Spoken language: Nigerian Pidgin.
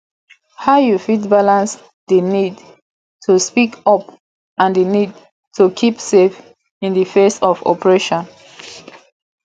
how you fit balance di need to speak up and di need to keep safe in di face of oppression